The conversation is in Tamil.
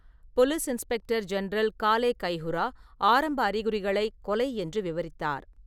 Police inspector general Kale Kayihura ஆரம்ப அறிகுறிகளைக் "கொலை" என்று விவரித்தார்.